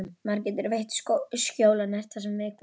Maður getur veitt skjól og nært það sem er veikburða.